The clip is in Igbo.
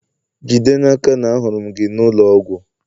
jide n'aka na ahụrụ m gị n'ụlọ ọgwụ!